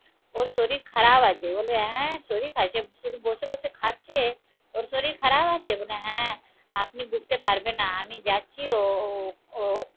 ওর শরীর খারাপ আছে বলবে হ্যাঁ শরীর কালকে শুধু বসে বসে খাচ্ছে ওর শরীর খারাপ আছে? বলে হ্যাঁ আপনি বুঝতে পারবেন না আমি যাচ্ছি ও ও